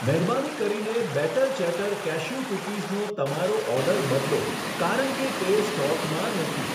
મહેરબાની કરીને batter chatter cashew કૂકીઝનો તમારો ઓર્ડર બદલો, કારણ કે તે સ્ટોકમાં નથી.